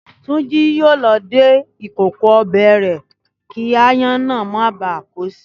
Túnjí yóò lọ dé ìkòkò ọbẹ̀ rẹ̀ kí aáyán ná bá á kó si